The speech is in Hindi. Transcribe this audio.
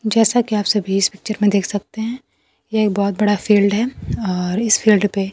जैसा कि आप सभी इस पिक्चर में देख सकते है यह एक बहोत बड़ा फील्ड है और इस फील्ड पे --